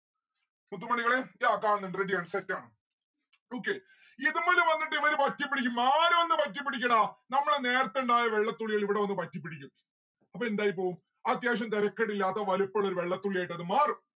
മുത്തുമണികളെ yeah കാണുന്നിണ്ട് ready ആണ് set ആണ്. okay ഇതുമ്മല് വന്നിട്ട് ഇവര് പറ്റിപ്പിടിക്കും ആര് വന്നു പറ്റിപ്പിടിക്കും ടാ നമ്മളെ നേരത്തെ ഇണ്ടായ വെള്ളത്തുള്ളികൾ ഇവിടെ വന്ന് പറ്റിപ്പിടിക്കും. അപ്പൊ എന്തായി പോവും അത്യാവശ്യം തെരക്കേടില്ലാത്ത വെലിപ്പിള്ളൊരു വെള്ളത്തുള്ളിയായിട്ട് അത് മാറും